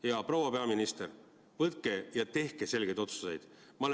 Hea proua peaminister, võtke ja tehke selgeid otsuseid!